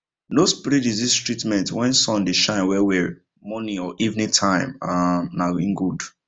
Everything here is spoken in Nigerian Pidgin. no spray disease treatment when sun dey shine well well morning or evening time um na him good